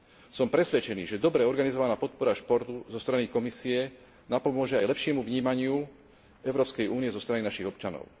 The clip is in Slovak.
Som presvedčený, že dobre organizovaná podpora športu zo strany Komisie napomôže aj lepšiemu vnímaniu Európskej únie zo strany našich občanov.